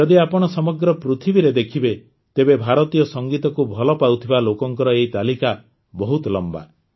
ଯଦି ଆପଣ ସମଗ୍ର ପୃଥିବୀରେ ଦେଖିବେ ତେବେ ଭାରତୀୟ ସଂଗୀତକୁ ଭଲ ପାଉଥିବା ଲୋକଙ୍କର ଏହି ତାଲିକା ବହୁତ ଲମ୍ବା